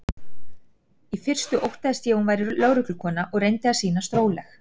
Í fyrstu óttaðist ég að hún væri lögreglukona og reyndi að sýnast róleg.